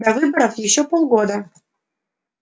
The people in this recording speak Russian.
до выборов ещё полгода